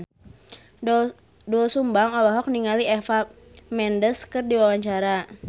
Doel Sumbang olohok ningali Eva Mendes keur diwawancara